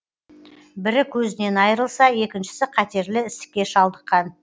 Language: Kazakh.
бірі көзінен айрылса екіншісі қатерлі ісікке шалдыққан